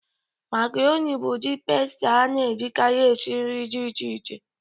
Makaroni bụ ụdị pasita a na-ejikarị esi nri dị iche iche.